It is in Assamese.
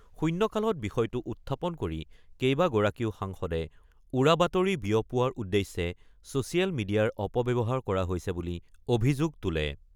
শূণ্যকালত বিষয়টো উত্থাপন কৰি কেইবাগৰাকীও সাংসদে উৰাবাতৰি বিয়পোৱাৰ উদ্দেশ্যে ছ'ছিয়েল মিডিয়াৰ অপব্যৱহাৰ কৰা হৈছে বুলি অভিযোগ তোলে।